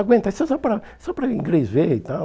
Aguenta aí, só só para só para o Inglês ver e tal.